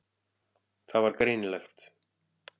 Það var greinilegt.